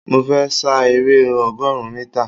Mo fẹ́ sa eré ọgọrun mítà